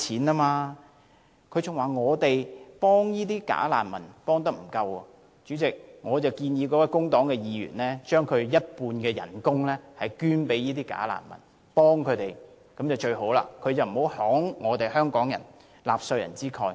他還指出我們對"假難民"的支援不足，所以代理主席，我建議這位工黨議員不如捐出其半數薪酬幫助這些"假難民"好了，請不要慷香港人和納稅人之慨。